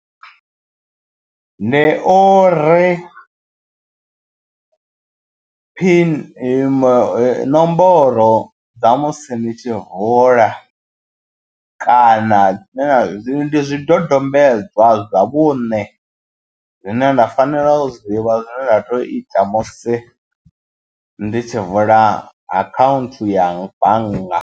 Ndi uri pin nomboro dza musi ni tshi hola kana ndi zwidodombedzwa zwa vhune zwine nda fanela u zwi ḓivha zwine nda to ita musi ndi tshi vula akhaunthu ya bannga.